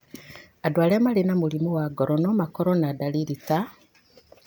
Andũ arĩa marĩ na mũrimũ wa ngoro no makorũo na dariri ta